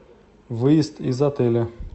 выезд из отеля